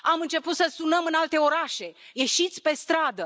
Am început să sunăm în alte orașe Ieșiți pe stradă!,